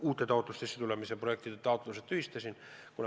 Uute taotluste, uute projektide taotlused ma tühistasin.